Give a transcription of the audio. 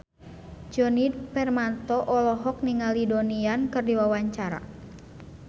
Djoni Permato olohok ningali Donnie Yan keur diwawancara